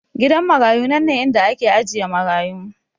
Gidan marayu nanne inda ake ajiye marayu